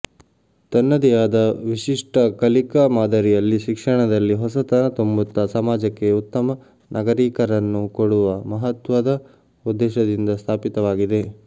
ತನ್ನದೇ ಆದ ವಿಶಿಷ್ಟ ಕಲಿಕಾ ಮಾದರಿಯಲ್ಲಿ ಶಿಕ್ಷಣದಲ್ಲಿ ಹೊಸತನ ತುಂಬುತ್ತ ಸಮಾಜಕ್ಕೆ ಉತ್ತಮ ನಾಗರೀಕರನ್ನು ಕೊಡುವ ಮಹತ್ವದ ಉದ್ದೇಶದಿಂದ ಸ್ಥಾಪಿತವಾಗಿದೆ